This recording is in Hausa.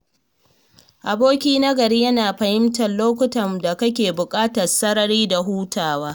Aboki na gari yana fahimtar lokutan da kake buƙatar sarari da hutawa.